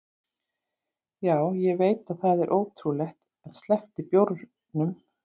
Já, ég veit að það er ótrúlegt en ég sleppti bjórnum.